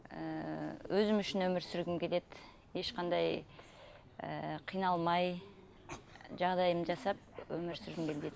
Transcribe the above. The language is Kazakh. ііі өзім үшін өмір сүргіп келеді ешқандай ыыы қиналмай жағдайымды жасап өмір сүргім келеді